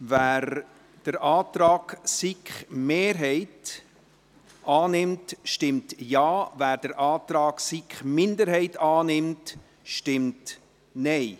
Wer den Antrag der SiK-Mehrheit annimmt, stimmt Ja, wer den Antrag der SiK-Minderheit annimmt, stimmt Nein.